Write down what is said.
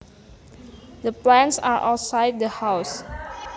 The plants are outside the house